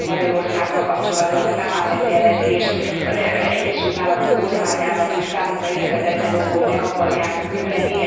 Például Magyarországgal kapcsolatban a Tavares jelentést az Egyesült Államok kormányának is számomra érthetetlen okból meg akarják küldeni.